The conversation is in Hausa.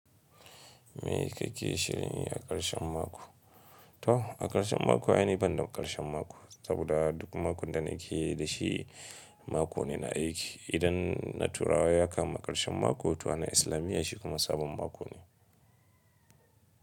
Me kake shirin yi a ƙarshen mako? To a ƙarshen mako ai ni banda ƙarshen mako saboda duk makon da nake da shi, mako ne na aiki. Idan na turawa ya kama ƙarshen mako, to wannan islamiya shi kuma sabon mako ne.